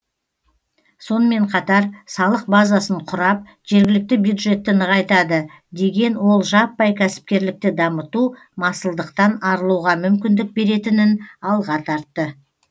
сонымен қатар салық базасын құрап жергілікті бюджетті нығайтады деген ол жаппай кәсіпкерлікті дамыту масылдықтан арылуға мүмкіндік беретінін алға тартты